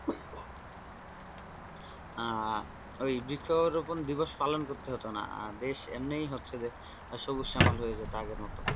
আহ ওই বৃক্ষরোপণ দিবস পালন করতে হতো না দেশ এমনই হচ্ছে যে সবুজ শ্যামল হয়ে তো আগের মত.